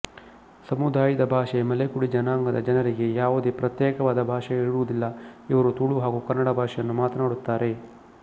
ಸಮುದಾಯದ ಭಾಷೆ ಮಲೆಕುಡಿ ಜನಾಂಗದ ಜನರಿಗೆ ಯಾವುದೇ ಪ್ರತ್ಯೇಕವಾದ ಭಾಷೆ ಇರುವುದಿಲ್ಲ ಇವರು ತುಳು ಹಾಗೂ ಕನ್ನಡ ಭಾಷೆಯನ್ನು ಮಾತನಾಡುತ್ತಾರೆ